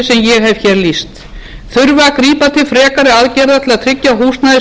ég hef hér lýst þurfi að grípa til frekari aðgerða til að tryggja húsnæðisöryggi fjölskyldna